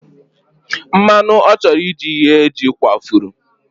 Mmanụ ọ chọrọ iji ghee jị kwafuru.